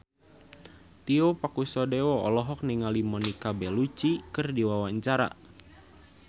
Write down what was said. Tio Pakusadewo olohok ningali Monica Belluci keur diwawancara